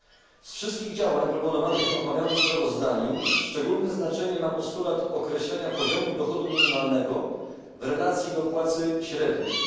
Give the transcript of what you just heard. Spośród wszystkich działań proponowanych w omawianym sprawozdaniu szczególne znaczenie ma postulat określenia poziomu dochodu minimalnego w relacji do płacy średniej.